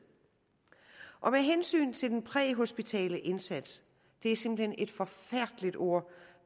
med hensyn til den præhospitale indsats det er simpelt hen et forfærdeligt ord